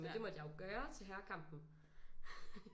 Men det måtte jeg jo gøre til herrekampen